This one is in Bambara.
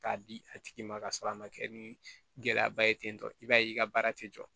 K'a di a tigi ma ka sɔrɔ a ma kɛ ni gɛlɛyaba ye ten tɔ i b'a ye i ka baara tɛ jɔ